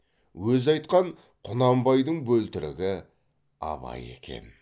өзі айтқан құнанбайдың бөлтірігі абай екен